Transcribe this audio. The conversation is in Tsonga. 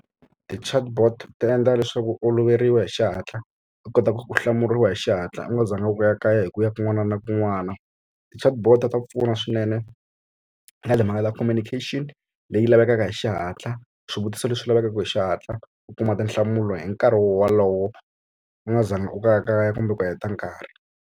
Ti-chatbot ti endla leswaku oloveriwa hi xihatla u kota ku ku hlamuriwa hi xihatla u nga zanga u ya kayakaya hi ku ya kun'wana na kun'wana ti-chatbot ta pfuna swinene ka timhaka ta communication leyi lavekaka hi xihatla swivutiso leswi lavekaka hi xihatla u kuma tinhlamulo hi nkarhi wolowo u nga zanga u kayakaya kumbe ku heta nkarhi.